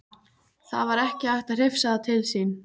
Það var ekki hægt að hrifsa það til sín.